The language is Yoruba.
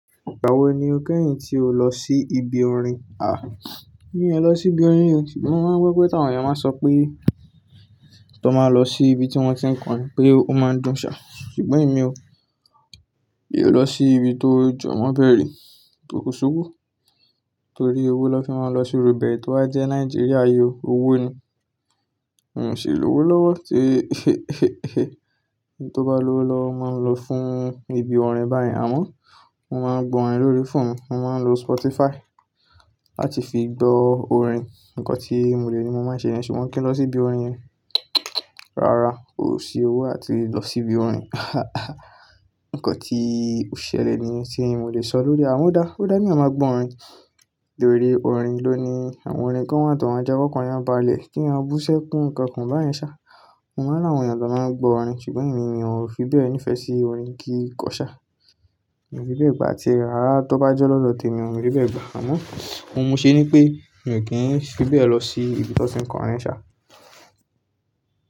Ìgbà wo ni o kẹ́yìn tí o lọ sí ibi orin? A, mí ò ní lọ sí ibi orin, ṣùgbọ́n máa ń gbọ́ pé àwọn èèyàn máa ń sọ pé tó máa lọ sí ibi tí wọ́n ti ń kọrin pé ó máa dùn ṣá, ṣùgbọ́n èmi o. Èmi ò lọ sí ibi tó jọ̀wọ́ bẹ́rẹ́ tó kowo, torí owó ló fi máa ń lọ sí iru bẹ́ẹ̀ tó bá jẹ́ Nàìjíríà yìí owó ni. N ò sì lówó lọ́wọ́ tìí ẹni tó bá lówó lọ máa ń lọ fún ibi orin báyìí. Àmọ́ mo máa ń gbọ́ orin lórí fóònù, mo máa ń lo Spotify láti fi gbọ́ orin. Ǹkọ́ tí mo lè ní mo máa ń ṣe yẹn ṣùgbọ́n kí n lọ sí ibi orin yẹn. Rárá, ò sí owó àti lọ sí ibi orin. Ǹnkan tí ò ṣẹlẹ̀ ni tí mo lè sọ lórí. Àmọ́ dá, ó dá kí èèyàn má gbọ́ orin torí orin ló ni àwọn orin kan wà tó máa ń jẹ́ kí i ọ́kan èèyàn bá lẹ̀ kí èèyàn bú ṣẹ́ kún ǹkan kan bá yẹn ṣá. Wọ́n máa ń rí àwọn èèyàn tó máa ń gbọ́ orin ṣùgbọ́n èmi mi ò fi bẹ́ẹ̀ nífẹ̀ẹ́ sí orin kí n kọ ṣá. Èmi fi bẹ́ẹ̀ gbà tí ará tó bá jọ́ lọ́dọ̀ tèmi ò ní bẹ́ẹ̀ gbà. Àmọ́ ohun mo ṣe ni pé mi ò kí ń fi bẹ́ẹ̀ lọ sí ibi tí wọ́n ti ń kọrin sá.